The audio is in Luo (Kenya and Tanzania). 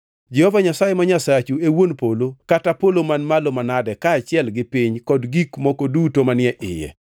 Jehova Nyasaye ma Nyasachu e wuon polo kata polo man malo manade kaachiel gi piny kod gik moko duto manie iye.